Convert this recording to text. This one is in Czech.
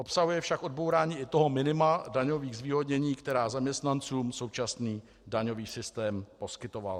Obsahuje však odbourání i toho minima daňových zvýhodnění, která zaměstnancům současný daňový systém poskytoval.